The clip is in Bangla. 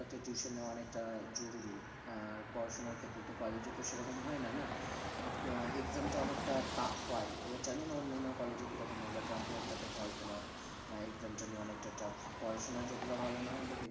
একটা tuition নেওয়া অনেকটা জরুরি আর পড়াশোনার ক্ষেত্রে তো কলেজে তো সেরকম হয়না না but exam টা অনেকটা tough হয়, এবার জানিনা অন্যান্য কলেজে কিরকম হয় but রামপুরহাট টাতে হয় তোমার আহ exam টা নিয়ে অনেকটা tough প~ পড়াশোনায় যতটা ভালো না হয় but